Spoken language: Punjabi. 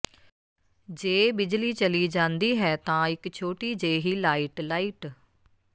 ਜੇ ਬਿਜਲੀ ਚਲੀ ਜਾਂਦੀ ਹੈ ਤਾਂ ਇਕ ਛੋਟੀ ਜਿਹੀ ਲਾਈਟ ਲਾਈਟ